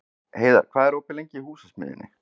Heiðar, hvað er opið lengi í Húsasmiðjunni?